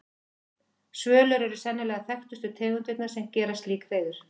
Svölur eru sennilega þekktustu tegundirnar sem gera slík hreiður.